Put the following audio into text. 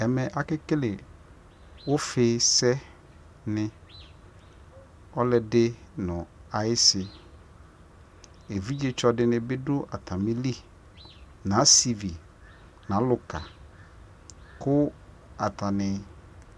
ɛmɛ akɛkɛlɛ ʋƒi sɛ ni, ɔlʋɛdi nʋ ayisi, ɛvidzɛ tsɔ dini bidʋ ɔtamili nʋ asivi nʋ alʋka kʋ atani